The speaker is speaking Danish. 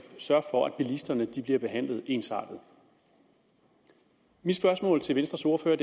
sørge for at bilisterne bliver behandlet ensartet mit spørgsmål til venstres ordfører